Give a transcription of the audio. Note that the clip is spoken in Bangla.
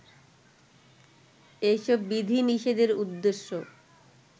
এই সব বিধিনিষেধের উদ্দেশ্য